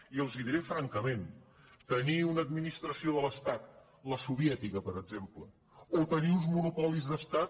i els ho diré francament tenir una administració de l’es·tat la soviètica per exemple o tenir uns monopolis d’estat